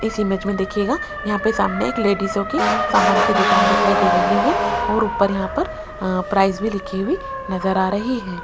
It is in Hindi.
इस इमेज में देखिएगा यहां पे सामने एक लेडीजोंकी सामान की दुकान दिखाई दे रही है और ऊपर यहां पर अ प्राइस भी लिखी हुई नजर आ रही हैं।